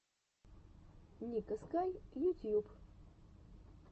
ника скай ютьюб